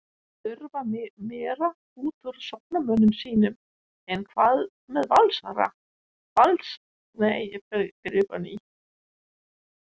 Þurfa meira útúr sóknarmönnum sínum En hvað með Valsarana?